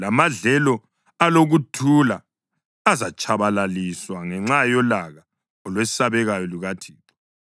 Lamadlelo alokuthula azatshabalaliswa ngenxa yolaka olwesabekayo lukaThixo.